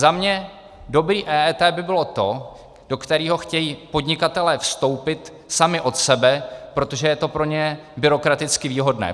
Za mě dobré EET by bylo to, do kterého chtějí podnikatelé vstoupit sami od sebe, protože je to pro ně byrokraticky výhodné.